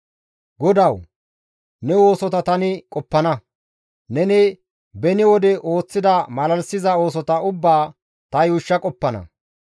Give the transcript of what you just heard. GODAWU! Ne oosota tani qoppana; neni beni wode ooththida malalisiza oosota ubbaa ta yuushsha qoppana.